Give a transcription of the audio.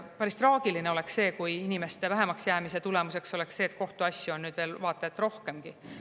Päris traagiline oleks, kui inimeste vähemaks jäämise tulemus oleks see, et kohtuasju on veel vaata et rohkemgi.